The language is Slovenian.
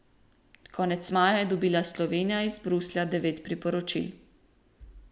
Konec maja je dobila Slovenija iz Bruslja devet priporočil.